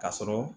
Ka sɔrɔ